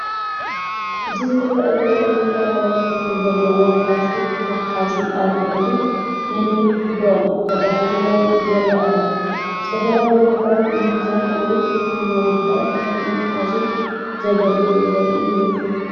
እዚ ዝረአ ዘሎ ዝተፈላለየ ሕብሪ ዘለዎም ፕላስቲክ መትሓዚ ኣብ ልዕሊ ነንሕድሕዶም ተደራሪቦም ይራኣዩ፡ ዝተፈላለዩ ነገራት ንምኽዛን ወይ ንምውዳብ ከም መትሓዚ ዘገልግሉ ዘርኢ ይመስል።